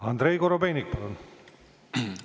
Andrei Korobeinik, palun!